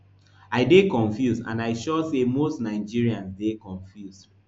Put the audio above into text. i dey confused and i sure say most nigerians dey confused